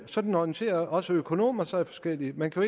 sådan orienterer også økonomer sig forskelligt man kan